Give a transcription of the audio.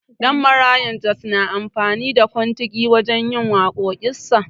Danmaraya Jos na amfani da kontigi wajen yin waƙoƙin sa.